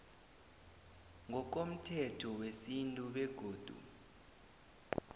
ngokomthetho wesintu begodu